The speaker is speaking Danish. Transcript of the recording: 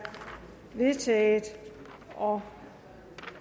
vedtaget og